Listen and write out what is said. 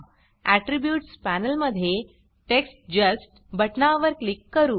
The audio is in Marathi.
आट्रिब्यूट्स पॅनल मध्ये टेक्स्ट जस्ट बटनावर क्लिक करू